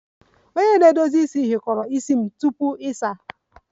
Ntutu stylist detangled ntutu isi m tupu ịsa